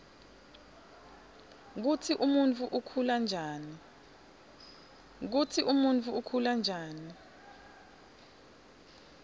kutsi umuntfu ukhula njani